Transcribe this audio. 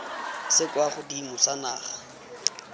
se kwa godimo sa naga